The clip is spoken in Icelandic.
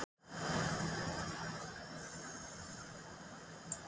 Þau hljóma einsog fuglasöngur.